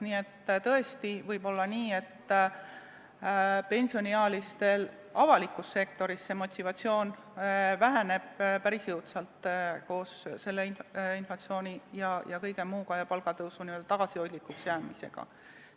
Nii et tõesti võib olla nii, et pensioniealistel avalikus sektoris motivatsioon väheneb päris jõudsalt koos inflatsiooni, palgatõusu tagasihoidlikuks jäämise ja kõige muuga.